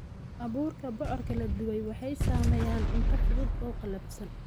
Abuurka bocorka la dubay waxay sameeyaan cunto fudud oo qallafsan.